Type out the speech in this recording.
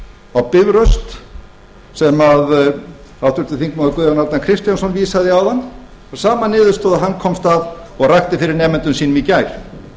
á bifröst sem háttvirtur þingmaður guðjón arnar kristjánsson vísaði í áðan að sömu niðurstöðu og hann komst að og rakti fyrir nemendum sínum í gær